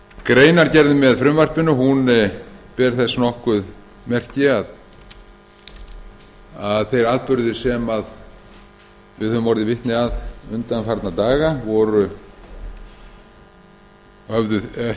greinargerðin með frumvarpinu ber þess nokkuð merki að þeir atburðir sem við höfum orðið vitni að undanfarna daga höfðu ekki átt